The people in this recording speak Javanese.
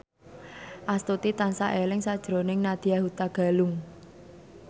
Astuti tansah eling sakjroning Nadya Hutagalung